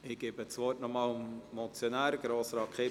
Ich gebe das Wort noch einmal dem Motionär, Grossrat Kipfer.